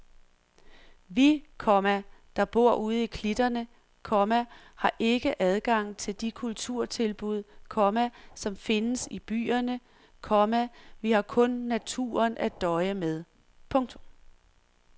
Vi, komma der bor ude i klitterne, komma har ikke adgang til de kulturtilbud, komma som findes i byerne, komma vi har kun naturen at døje med. punktum